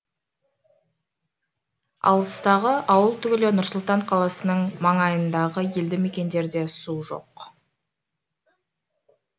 алыстағы ауыл түгілі нұр сұлтан қаласының маңайындағы елді мекендерде су жоқ